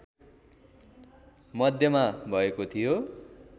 मध्यमा भएको थियो